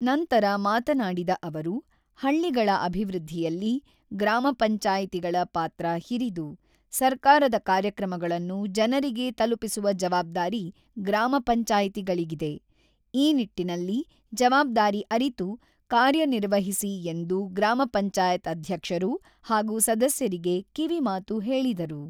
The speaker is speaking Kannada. ನಂತರ ಮಾತನಾಡಿದ ಅವರು "ಹಳ್ಳಿಗಳ ಅಭಿವೃದ್ಧಿಯಲ್ಲಿ ಗ್ರಾಮ ಪಂಚಾಯತಿಗಳ ಪಾತ್ರ ಹಿರಿದು ; ಸರ್ಕಾರದ ಕಾರ್ಯಕ್ರಮಗಳನ್ನು ಜನರಿಗೆ ತಲುಪಿಸುವ ಜವಾಬ್ದಾರಿ ಗ್ರಾಮ ಪಂಚಾಯತಿಗಳಿಗಿದೆ ; ಈ ನಿಟ್ಟಿನಲ್ಲಿ ಜವಾಬ್ದಾರಿ ಅರಿತು ಕಾರ್ಯ ನಿರ್ವವಹಿಸಿ ಎಂದು ಗ್ರಾಮ ಪಂಚಾಯತ್ ಅಧ್ಯಕ್ಷರು ಹಾಗೂ ಸದಸ್ಯರಿಗೆ ಕಿವಿ ಮಾತು ಹೇಳಿದರು.